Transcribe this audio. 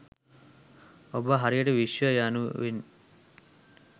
ඔබ හරියට විශ්වය යනුවෙන්